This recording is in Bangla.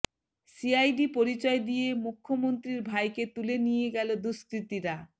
সিআইডি পরিচয় দিয়ে মুখ্য়মন্ত্রীর ভাইকে তুলে নিয়ে গেল দুষ্কৃতীরা